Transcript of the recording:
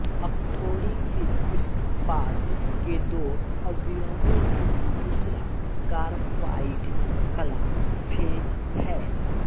अकठोरीकृत इस्पात के दो अवयवों में दूसरा कारबाइड कला फ़ेज़ है